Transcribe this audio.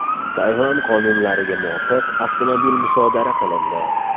Tayvan qonunlariga muvofiq, avtomobil musodara qilindi.